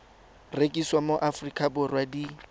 rekisiwa mo aforika borwa di